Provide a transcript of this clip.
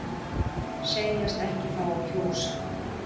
Segjast ekki fá að kjósa